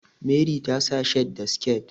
Meri ta sa shirt da sike